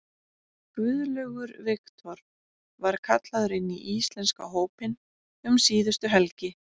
Guðlaugur Victor var kallaður inn í íslenska hópinn um síðustu helgi.